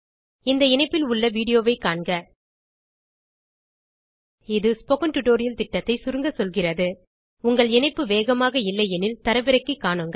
இந்த இணைப்பில் உள்ள வீடியோ ஐ காண்க ஸ்போக்கன் டியூட்டோரியல் திட்டத்தை சுருங்க சொல்கிறது இணைப்பு வேகமாக இல்லை எனில் தரவிறக்கி காணுங்கள்